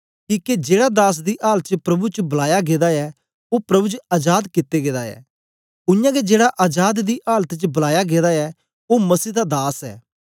किके जेड़ा दास दी आलत च प्रभु च बलाया गेदा ऐ ओ प्रभु च अजाद कित्ते गेदा ऐ उयांगै जेड़ा अजाद दी आलत च बलाया गेदा ऐ ओ मसीह दा दास ऐ